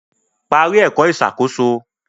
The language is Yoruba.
Parí ẹ̀kọ́ ìṣàkóso